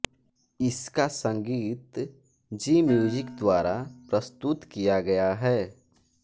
इसका संगीत ज़ी म्यूजिक द्वारा प्रस्तुत किया गया है